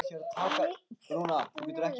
Hann lítur niður til mín.